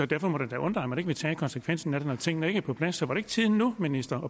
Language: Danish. derfor må det da undre at man ikke vil tage konsekvensen af det når tingene ikke er på plads så er det ikke tiden nu minister